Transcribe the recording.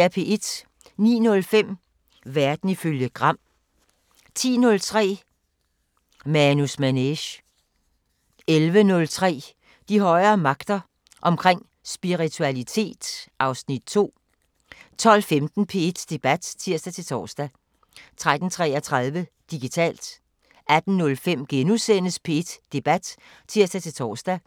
09:05: Verden ifølge Gram 10:03: Manus Manege 11:03: De højere magter: Omkring spiritualitet (Afs. 2) 12:15: P1 Debat (tir-tor) 13:33: Digitalt 18:05: P1 Debat *(tir-tor)